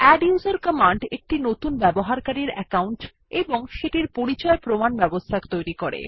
আদ্দুসের command একটি নতুন ব্যবহারকারীর অ্যাকউন্ট এবং সেটির পরিচয় প্রমাণ ব্যবস্থা তৈরী করে